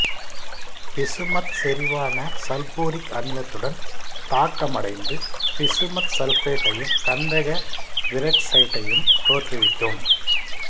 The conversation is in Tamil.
பிசுமத் செறிவான சல்பூரிக் அமிலத்துடன் தாக்கமடைந்து பிசுமத் சல்பேட்டையும் கந்தகவீரொக்சைட்டையும் தோற்றுவிக்கும்